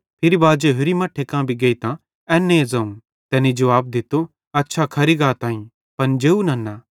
फिरी बाजे होरि मट्ठे कां भी गेइतां एन्ने ज़ोवं तैनी जुवाब दित्तो अछा खरी गाताईं पन जेव नन्ना